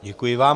Děkuji vám.